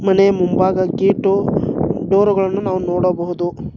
ಮನೆ ಮುಂಬಾಗ ಗೇಟು ಡೊರುಗಳನ್ನು ನಾವು ನೋಡಬಹುದು.